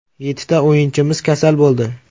Yettita o‘yinchimiz kasal bo‘ldi.